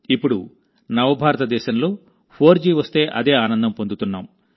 ఇప్పుడు నవ భారతదేశంలో 4జీ వస్తే అదే ఆనందం పొందుతున్నాం